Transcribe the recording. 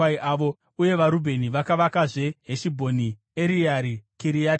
Uye vaRubheni vakavakazve Heshibhoni, Ereare Kiriatihaimi,